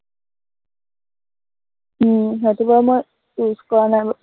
উম সেইটো বাৰু মই use কৰা নাই বাৰু